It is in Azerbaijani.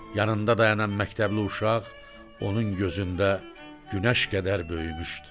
Yanında dayanan məktəbli uşaq onun gözündə günəş qədər böyümüşdü.